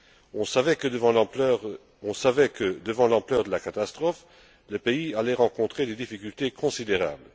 On savait que, devant l'ampleur de la catastrophe, le pays allait rencontrer des difficultés considérables.